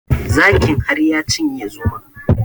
Zakin har ya cinye zomon